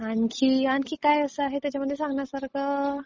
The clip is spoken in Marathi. आणखी काय आहे त्याच्यामध्ये सांगण्या सारखं?